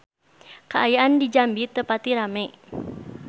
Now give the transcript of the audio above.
Kaayaan di Jambi teu pati rame